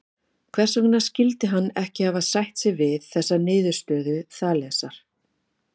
Hvers vegna skyldi hann ekki hafa sætt sig við niðurstöðu Þalesar?